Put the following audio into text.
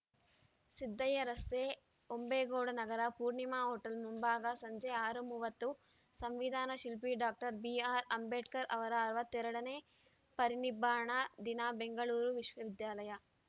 ಸಿದ್ದಯ್ಯ ರಸ್ತೆ ಹೊಂಬೇಗೌಡ ನಗರ ಪೂರ್ಣಿಮಾ ಹೋಟೆಲ್‌ ಮುಂಭಾಗ ಸಂಜೆ ಆರು ಮೂವತ್ತು ಸಂವಿಧಾನ ಶಿಲ್ಪಿ ಡಾಕ್ಟರ್ ಬಿಆರ್‌ಅಂಬೇಡ್ಕರ್‌ ಅವರ ಅರವತ್ತೆರಡನೇ ಪರಿನಿಬ್ಬಾಣ ದಿನ ಬೆಂಗಳೂರು ವಿಶ್ವವಿದ್ಯಾಲಯ